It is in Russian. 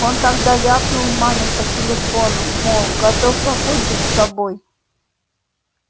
он тогда ляпнул маме по телефону мол готов покончить с собой